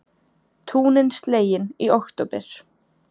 Túnin slegin í október